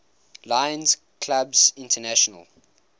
lions clubs international